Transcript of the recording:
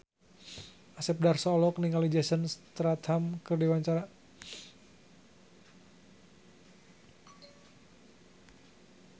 Asep Darso olohok ningali Jason Statham keur diwawancara